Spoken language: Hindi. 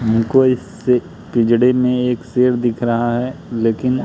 हमको इस पिंजड़े में एक शेर दिख रहा है लेकिन--